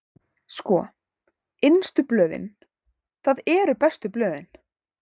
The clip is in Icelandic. Sko, innstu blöðin, það eru bestu blöðin.